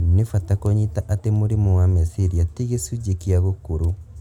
Nĩ bata kũnyita atĩ mũrimũ wa meciria ti gĩcunjĩ kia gũkũrũ